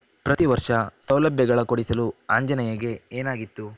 ಪ್ರತಿವರ್ಷ ಸೌಲಭ್ಯಗಳ ಕೊಡಿಸಲು ಆಂಜನೇಯಗೆ ಏನಾಗಿತ್ತು